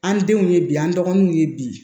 An denw ye bi an dɔgɔnuw ye bi